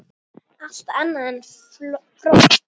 Allt annað en fró!